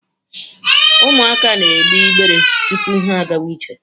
Ụmụaka na egbe igbere tupu ha agawa ije.